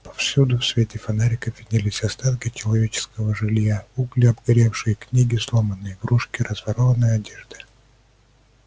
повсюду в свете фонариков виднелись остатки человеческого жилья угли обгоревшие книги сломанные игрушки разорванная одежда